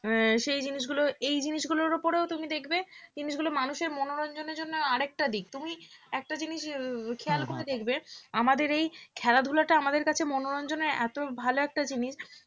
আহ সেই জিনিসগুলো এই জিনিসগুলোর উপরও তুমি দেখবে জিনিসগুলো মানুষের মনোরঞ্জনের জন্য আরেকটা দিক তুমি একটা জিনিস খেয়াল করে দেখবে আমাদের এই খেলাধূলাটা আমাদের কাছে মনোরঞ্জনে এত ভাল একটা জিনিস